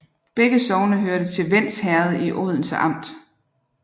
Begge sogne hørte til Vends Herred i Odense Amt